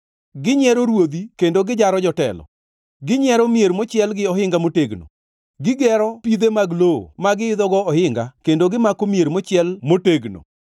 Ginyiero ruodhi kendo gijaro jotelo. Ginyiero mier mochiel gi ohinga motegno; gigero pidhe mag lowo ma giidhogo ohinga kendo gimako mier mochiel motegno.